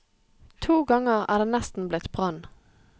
To ganger er det nesten blitt brann.